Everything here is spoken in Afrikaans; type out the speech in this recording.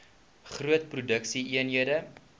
groot produksie eenhede